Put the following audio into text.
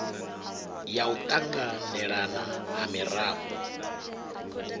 ya u ṱanganelana ha mirafho